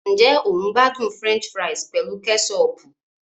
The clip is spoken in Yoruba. Ǹjẹ́ o n gbádùn French fries pẹ̀lú kẹ́sọọ̀pù